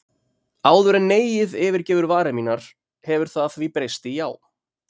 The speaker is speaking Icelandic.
Áður en neiið yfirgefur varir mínar hefur það því breyst í já.